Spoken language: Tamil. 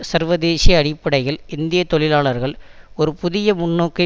சர்வதேசிய அடிப்படையில் இந்திய தொழிலாளர்கள் ஒரு புதிய முன்னோக்கை